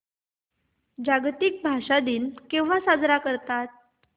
जागतिक भाषा दिन केव्हा साजरा करतात